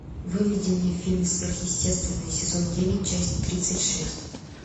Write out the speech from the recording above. выведи мне фильм сверхъестественное сезон девять часть тридцать шесть